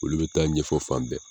Olu be taa ɲɛfɔ fan bɛɛ